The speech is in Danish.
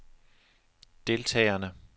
deltagerne